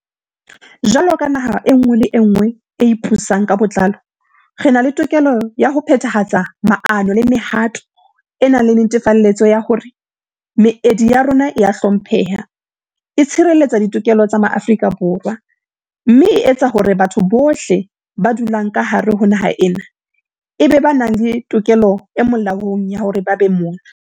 Jwalo ka naha e nngwe le e nngwe e ipusang ka botlalo, re na le tokelo ya ho phethahatsa maano le mehato e nang le netefaletso ya hore meedi ya rona e a hlompheha, e tshireletsa ditokelo tsa Maafrika Borwa, mme e tsa hore batho bohle ba dulang ka hare ho naha ena e be ba nang le tokelo e molaong ya hore ba be mona.